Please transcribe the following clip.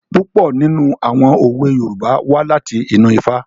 Púpọ̀ nínú àwọn òwe Yorùbá wá láti inú Ifá.